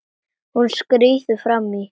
Hún skríður fram í.